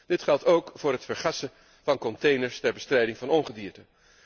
Dit geldt ook voor het vergassen van containers ter bestrijding van ongedierte.